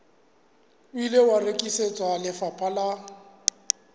ile wa rekisetswa lefapha la